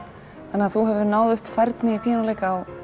þannig að þú hefur náð upp færni í píanóleik á